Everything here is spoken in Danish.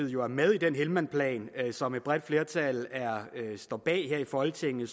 jo er med i den helmandplan som et bredt flertal står bag her i folketinget